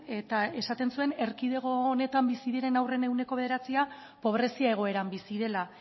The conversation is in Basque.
eta esaten zuen erkidego honetan bizi diren haurren ehuneko bederatzia pobrezia egoeran bizi dela